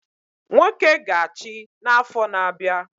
Nwoke ga achi na afo na abia